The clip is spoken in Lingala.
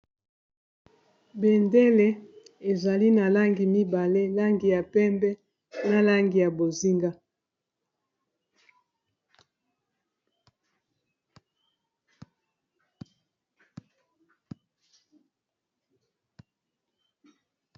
Bendele ezali na langi mibale langi ya pembe na langi ya bozinga.